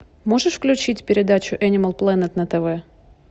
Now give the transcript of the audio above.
можешь включить передачу энимал плэнет на тв